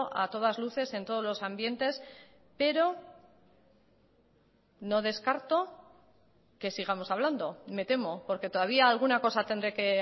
a todas luces en todos los ambientes pero no descarto que sigamos hablando me temo porque todavía alguna cosa tendré que